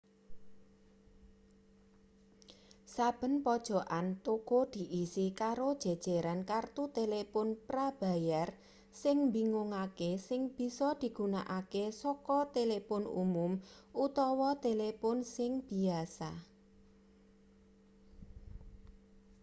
saben pojokan toko diisi karo jejeran kertu telepon prabayar sing mbingungake sing bisa digunakake saka telepon umum utawa telepon sing biyasa